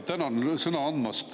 Tänan sõna andmast!